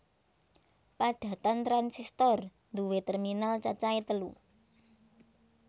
Padatan transistor nduwé terminal cacahe telu